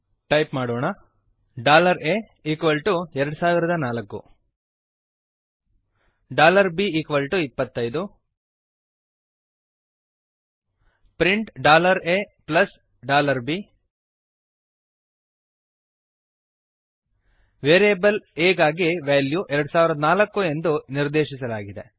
type ಮಾಡೋಣ a 2004 b 25 print a b variable a ಗಾಗಿ value 2004 ಎಂದು ನಿರ್ದೇಶಿಸಲಾಗಿದೆ